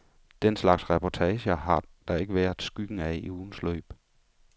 Den slags reportager har der ikke været skyggen af i ugens løb.